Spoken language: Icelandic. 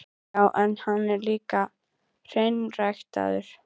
Já, en hann er líka hreinræktaður.